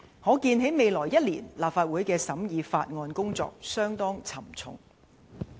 可見在未來一年，立法會審議法案的工作相當沉重。